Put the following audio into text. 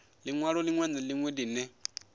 linwalo linwe na linwe line